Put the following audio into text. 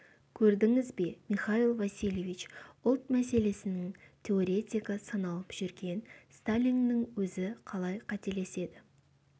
көрдіңіз бе михаил васильевич ұлт мәселесінің теоретигі саналып жүрген сталиннің өзі қалай қателеседі